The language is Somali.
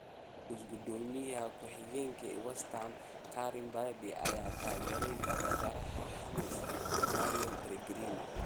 (Argus) Guddoomiye ku xigeenka West Ham Karren Brady ayaa taageeray tababaraha Hammers Manuel Pellegrini.